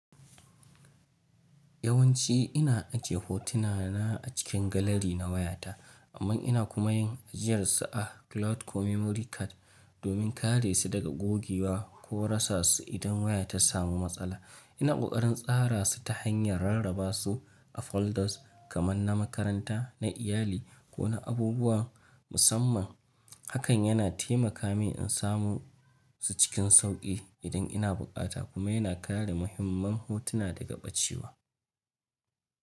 Yawanci ina ajiye hotuna na a cikin galari na wayata, amma ina kuma yin ajiyarsu a cloud ko memory card domin kare su daga gogewa ko rasa su idan wayata samu matsala. Ina ƙoƙarin tsara su ta hanyar rarraba su a folders, kamar na makaranta, na iyali ko na abubuwa musamman. Hakan yana taimaka mini in samu su cikin sauƙi idan ina bukata kuma yana kare muhimman hotuna daga ɓacewa.